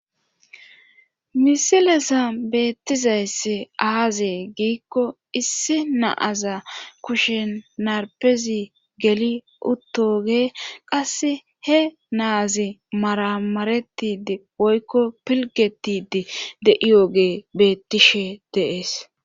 Misilesa beettizaysse aazee giikko issi naaza kushen narpezi geli uttoge qasse he naazi maramaretidi oykko pilgetidi de'iyoge beettishe deees.